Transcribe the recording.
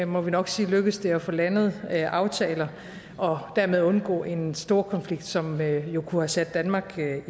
må vi nok sige lykkedes det at få landet aftaler og dermed undgå en storkonflikt som jo kunne have sat danmark